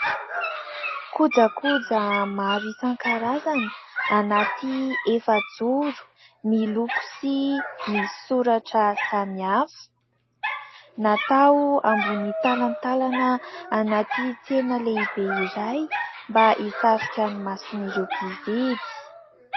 Kojakoja maro isan-karazany anaty efajoro miloko sy misy soratra samihafa. Natao anaty talantalana anaty tsena lehibe iray mba hisarija ny mason'ireo mpividy.